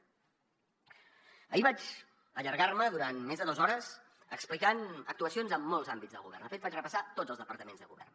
ahir vaig allargar me durant més de dos hores explicant actuacions en molts àmbits del govern de fet vaig repassar tots els departaments de govern